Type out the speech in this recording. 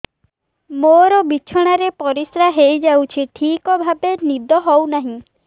ମୋର ବିଛଣାରେ ପରିସ୍ରା ହେଇଯାଉଛି ଠିକ ଭାବେ ନିଦ ହଉ ନାହିଁ